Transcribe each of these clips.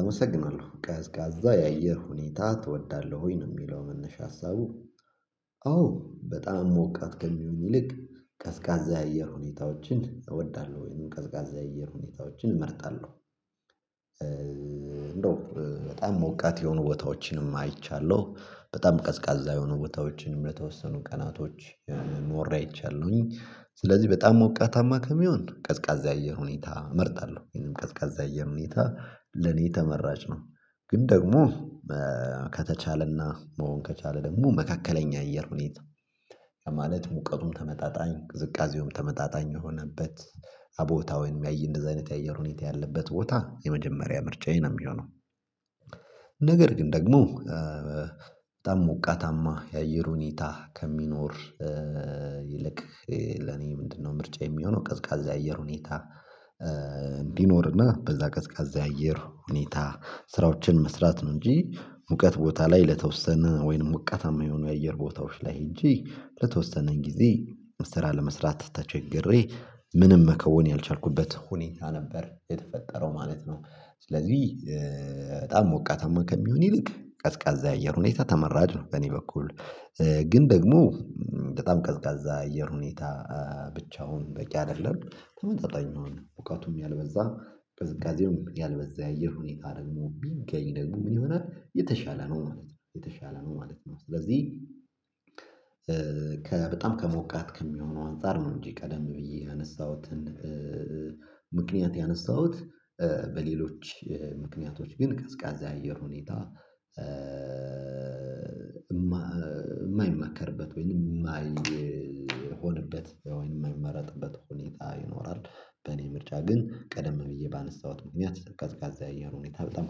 አመሰግናለሁ ቀዝቃዛ የአየር ሁኔታ ትወዳለህ? ወይ ነው የሚለው መነሻ ሀሳቡ አዎ በጣም ሞቃት ከሚሆን ይልቅ ቀዝቃዛ የአየር ሁኔታዎችን እወዳለሁ ወይም ቀዝቃዛ የአየር ሁኔታዎችን እመርጣለሁ። እንደው እ በጣም ሞቃት የሆኑ ቦታዎችንም አይቻለሁ። በጣም ቀዝቃዛ የሆኑ ቦታዎችንም ለተወሰኑ ቀናቶች እ ኖሬ አይቻለሁኝ። ስለዚህ በጣም ሞቃታማ ከሚሆን ቀዝቃዛ አየር ሁኔታ እመርጣለሁ ይህንም ቀዝቃዛ አየር ሁኔታ ለኔ ተመራጭ ነው። ግን ደግሞ እእ ከተቻለና መሆን ከቻለ ደግሞ መካከለኛ አየር ሁኔታ። ማለት ሙቀቱም ተመጣጣኝ ቅዝቃዜውም ተመጣጣኝ የሆነበት አቦታውን ያአየ እንደዚህ አይነት የአየር ሁኔታ ያለበት ቦታ የመጀመሪያ ምርጫዬን ነው የሚሆነው። ነገር ግን ደግሞ እእ በጣም ሞቃታማ የአየር ሁኔታ ከሚኖር እእእ ይልቅ እ ለኔ ምንድነው ምርጫዩ የሚሆነው ቀዝቃዛ የአየር ሁኔታ። እእ እንዲኖርና በዛ ቀዝቃዛ የአየር ሁኔታ ስራዎችን መስራት ነው እንጂ ሙቀት ቦታ ላይ ለተወሰነ ወይንም ሞቃታማ የሆኑ የአየር ቦታዎች ላይ ሄጄ ለተወሰነ ጊዜ መስራት ለመስራት ተቸገሬ ምንም መከወን ያልቻልኩበት ሁኔታ ነበር የተፈጠረው ማለት ነው። ስለዚህ እእእ በጣም ሞቃታማ ከሚሆን ይልቅ ቀዝቃዛ የአየር ሁኔታ ተመራጭ ነው። በእኔ በኩል እእ ግን ደግሞ እም በጣም ቀዝቃዛ አየር ሁኔታ እ ብቻውን በቂ አይደለም ተመጣጣኝ ነው ሙቀቱም ያልበዛ ቅዝቃዜውም ያልበዛ የአየር ሁኔታ ደግሞ ቢሚገኝ ደግሞ ምን ይሆናል የተሻለ ነው ማለት ነው የተሻለ ነው ማለት ነው። ስለዚህ ከበጣም ከሞቃት ከሚሆነው አንፃር ነው እንጂ ቀደም ብዬ ያነሳሁትን እእ ምክንያት ያነሳሁት እእ በሌሎች እ ምክንያቶች ግን ቀዝቃዛ የአየር ሁኔታ። እእእ የማይመከርበት ወይንም የማይሆንበት ወይንም የማይመረጥበት ሁኔታ ይኖራል። በእኔ ምርጫ ግን ቀደም ብዬ ባነሳሁት ምክንያት ቀዝቃዛ የአየር ሁኔታ በጣም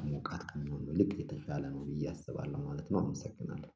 ከሞቃት ከመሆን ነው ልክ የተቻለ ነው ብዬ አስባለሁ ማለት ነው። አመሰግናለሁ